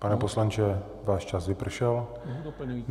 Pane poslanče, váš čas vypršel.